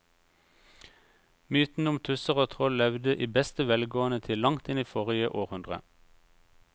Mytene om tusser og troll levde i beste velgående til langt inn i forrige århundre.